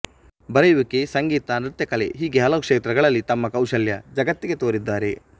ಬರೆಯುವಿಕೆಸಂಗೀತನೃತ್ಯಕಲೆ ಹೀಗೆ ಹಲವು ಕ್ಷೇತ್ರದಲ್ಲಿ ತಮ್ಮ ಕೌಶಲ್ಯ ಜಗತ್ತಿಗೆ ತೋರಿದ್ದಾರೆ